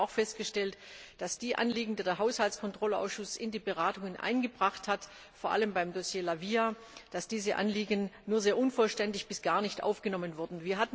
Ich habe auch festgestellt, dass die Anliegen, die der Haushaltskontrollausschuss in die Beratungen eingebracht hat, vor allem beim Dossier La Via, nur sehr unvollständig bis gar nicht aufgenommen wurden.